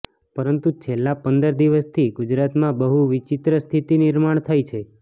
પરંતુ છેલ્લાં પંદર દિવસથી ગુજરાતમાં બહુ વિચિત્ર સ્થિતિ નિર્માણ થઈ છે